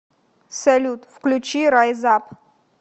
салют включи райз ап